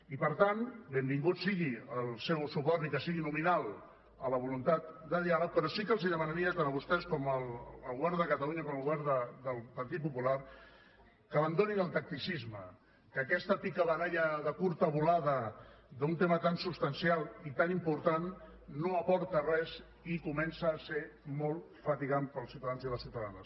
i per tant benvingut sigui el seu suport ni que sigui nominal a la voluntat de diàleg però sí que els demanaria tant a vostès al govern de catalunya com al govern del partit popular que abandonessin el tacticisme que aquesta picabaralla de curta volada en un tema tan substancial i tan important no aporta res i comença a ser molt fatigant per als ciutadans i les ciutadanes